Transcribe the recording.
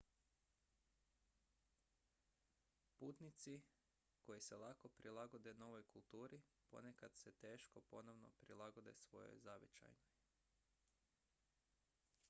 putnici koji se lako prilagode novoj kulturi ponekad se teško ponovno prilagode svojoj zavičajnoj